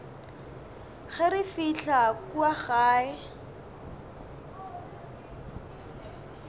ge re fihla kua gae